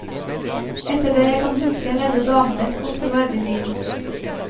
Etter det jeg kan huske, levde damene et godt og verdig liv.